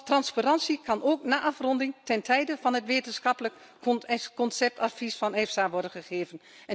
Transparantie kan ook na afronding ten tijde van het wetenschappelijk conceptadvies van EFSA worden gegeven.